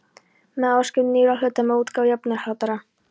með áskrift nýrra hluta og með útgáfu jöfnunarhlutabréfa.